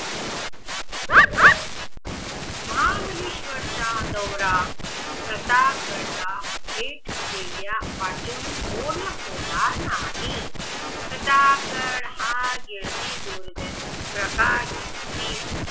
महाबळेश्वर चा दौरा प्रताप गड ला भेट देण्यावाचून होणं होणार नाही प्रतापगड हा येथील